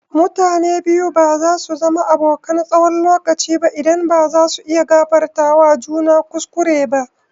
Mutane biyu ba zasu zama abokan tsawon lokaci ba idan ba zasu iya gafartawa juna kuskure ba.